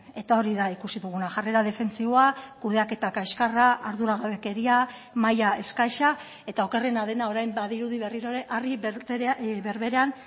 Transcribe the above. eta hori da ikusi duguna jarrera defentsiboa kudeaketa kaxkarra arduragabekeria maila eskasa eta okerrena dena orain badirudi berriro ere harri berberean